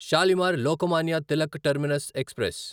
Shalimar Lokmanya Tilak terminus express